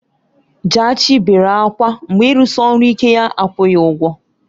Jaachii bere ákwá mgbe ịrụsi ọrụ ike ya akwụghị ụgwọ.